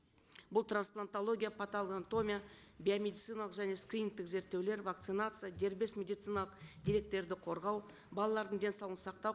бұл трансплантология патологоанатомия биомедициналық және скринингтік зерттеулер вакцинация дербес медициналық деректерді қорғау балалардың денсаулығын сақтау